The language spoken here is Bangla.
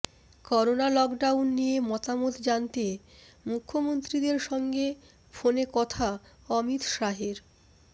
করোনা লকডাউন নিয়ে মতামত জানতে মুখ্যমন্ত্রীদের সঙ্গে ফোনে কথা অমিত শাহের